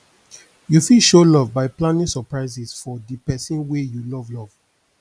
you fit show love by planning surprises for di person wey you love love